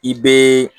I bɛ